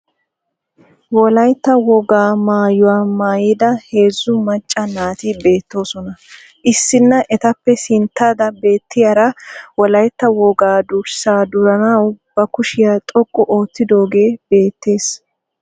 Wolaytta woga maayuwaa maayida heezzuu maaca naati beettosona. Issina etappe sintatada beettiyaara wolaytta woga durssaa duranaawu ba kushiya xoqu oottidoogee beettees.